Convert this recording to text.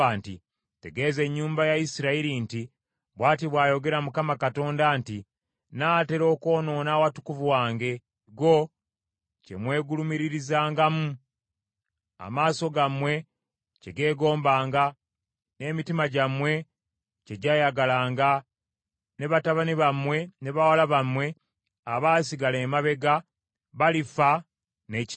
Tegeeza ennyumba ya Isirayiri nti, ‘Bw’ati bw’ayogera Mukama Katonda nti, nnaatera okwonoona awatukuvu wange, ekigo kye mwegulumiririzangamu, amaaso gammwe kye geegombanga, n’emitima gyammwe kye gyayagalanga, ne batabani bammwe ne bawala bammwe abaasigala emabega, balifa n’ekitala.